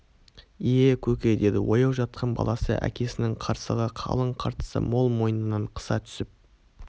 ие көке деді ояу жатқан баласы әкесінің қырсығы қалың қыртысы мол мойнын қыса түсіп